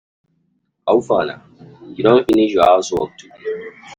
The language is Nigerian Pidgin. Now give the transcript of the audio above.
How far na, you don finish your house work today?